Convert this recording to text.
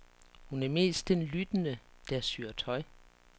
Hun er mest den lyttende, der syr tøj.